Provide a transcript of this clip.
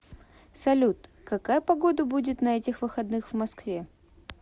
салют какая погода будет на этих выходных в москве